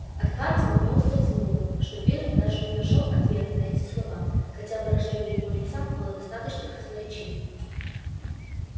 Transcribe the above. от хардина не ускользнуло что пиренн даже не нашёл ответа на эти слова хотя выражение его лица было достаточно красноречивым